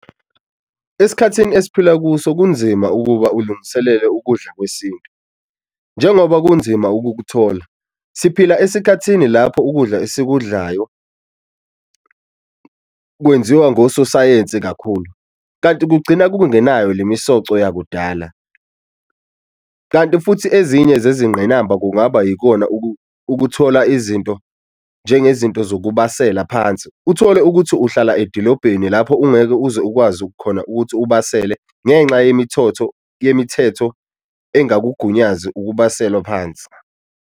Esikhathini esiphila kuso kunzima ukuba ulungiselele ukudla kwesintu njengoba kunzima ukukuthola, siphila esikhathini lapho ukudla esikudlayo kwenziwa ngososayensi kakhulu kanti kugcina kungenayo le misoco yakudala. Kanti futhi ezinye zezingqinamba kungaba yikona ukuthola izinto njengezinto zokubasela phansi, uthole ukuthi uhlala edilobheni lapho ungeke uze ukwazi khona ukuthi ubasele ngenxa yemithotho yemithetho engakugunyazi ukubaselwa phansi.